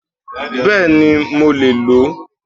Béèni mo lè ló